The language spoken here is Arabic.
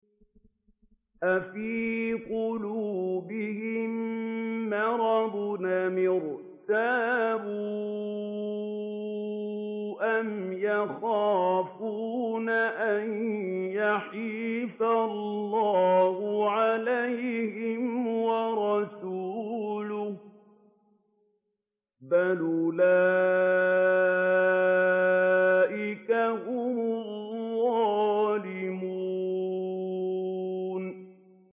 أَفِي قُلُوبِهِم مَّرَضٌ أَمِ ارْتَابُوا أَمْ يَخَافُونَ أَن يَحِيفَ اللَّهُ عَلَيْهِمْ وَرَسُولُهُ ۚ بَلْ أُولَٰئِكَ هُمُ الظَّالِمُونَ